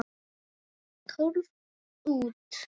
Tólf út.